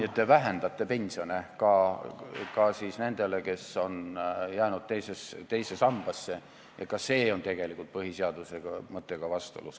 Nii et te vähendate pensioni ka nendel, kes on jäänud teise sambasse, ja see on tegelikult põhiseaduse mõttega vastuolus.